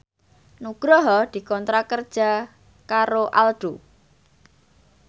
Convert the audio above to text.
Nugroho dikontrak kerja karo Aldo